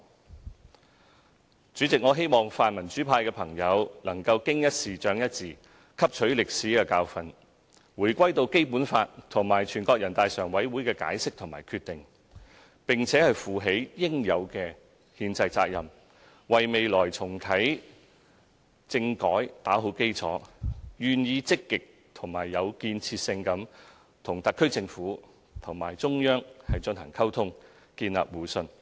代理主席，我希望泛民主派的朋友能夠"經一事，長一智"，汲取歷史教訓，回歸到《基本法》和全國人大常委會的解釋和決定，並負起應有的憲制責任，為未來重啟政改打好基礎，並願意積極和有建設性地與特區政府及中央進行溝通，建立互信。